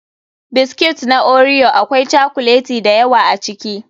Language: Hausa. Biscuits na Oreo akwai cokuleti da yawa a ciki.